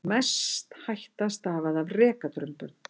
Mest hætta stafaði af rekadrumbum.